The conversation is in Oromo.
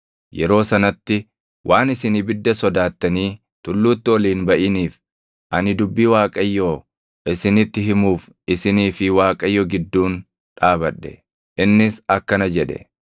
Yeroo sanatti waan isin ibidda sodaattanii tulluutti ol hin baʼiniif ani dubbii Waaqayyoo isinitti himuuf isinii fi Waaqayyo gidduun dhaabadhe. Innis akkana jedhe: